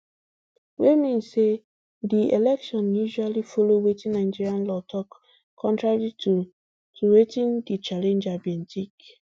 wey mean say di election actually follow wetin nigeria law tok contrary to to wetin di challenger bi tink